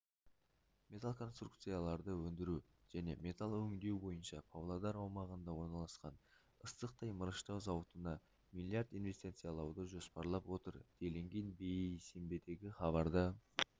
металл конструкцияларды өндіру және металл өңдеу бойынша павлодар аумағында орналасқан ыстықтай мырыштау зауытына миллиард инвестициялауды жоспарлап отыр делінген бейсенбідегі хабарда